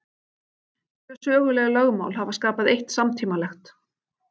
Tvö söguleg lögmál hafa skapað eitt samtímalegt.